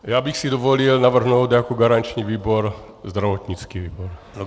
Já bych si dovolil navrhnout jako garanční výbor zdravotnický výbor.